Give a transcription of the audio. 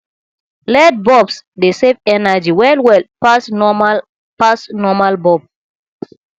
led bulbs dey save energy well well pass normal pass normal bulb